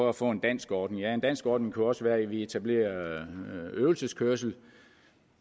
at få en dansk ordning ja en dansk ordning kunne jo også være at vi etablerer øvelseskørsel